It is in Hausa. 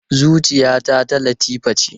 Zuciyata ta Latifa ce.